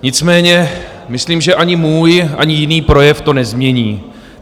Nicméně myslím, že ani můj, ani jiný projev to nezmění.